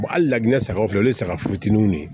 hali laginɛ sagaw filɛ o ye saga fitininw ye